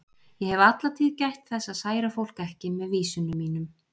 Ég hef alla tíð gætt þess að særa fólk ekki með vísunum mínum.